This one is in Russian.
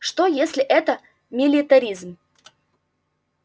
что если это милитаризм